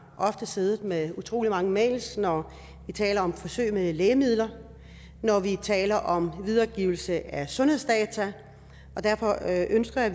siddet med utrolig mange mails når vi taler om forsøg med lægemidler og når vi taler om videregivelse af sundhedsdata og derfor ønsker jeg